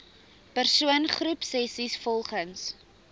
persoon groepsessies volgens